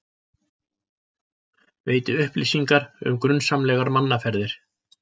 Veiti upplýsingar um grunsamlegar mannaferðir